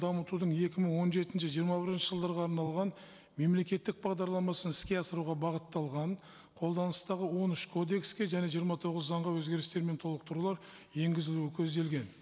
дамытудың екі мың он жетінші жиырма бірінші жылдарға арналған мемлекеттік бағдарламасын іске асыруға бағытталған қолданыстағы он үш кодекске және жиырма тоғыз заңға өзгерістер мен толықтырулар енгізілуі көзделген